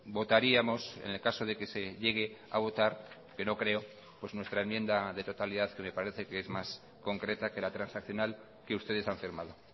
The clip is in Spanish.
votaríamos en el caso de que se llegue a votar que no creo pues nuestra enmienda de totalidad que me parece que es más concreta que la transaccional que ustedes han firmado